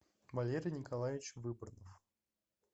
валерий николаевич выборнов